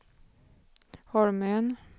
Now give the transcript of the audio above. Holmön